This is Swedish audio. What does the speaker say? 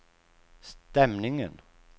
stämningen